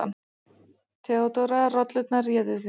THEODÓRA: Rollurnar réðu því.